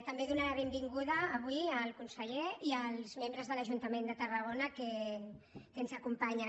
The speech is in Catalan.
també donar la benvinguda avui al conseller i als membres de l’ajuntament de tarragona que ens acompanyen